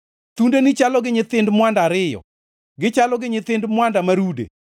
Thundeni chalo gi nyithind mwanda ariyo, gichalo gi nyithind mwanda ma rude.